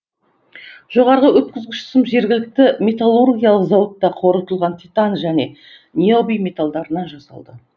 жоғары өткізгіш сым жергілікті металлургиялық зауытта қорытылған титан және ниоби металдарынан жасалды